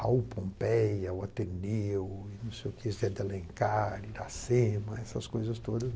Raul Pompéia, O Ateneu, não sei o que, Zé de Alencar, Iracema, essas coisas todas.